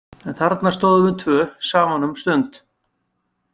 En þarna stóðum við tvö saman um stund.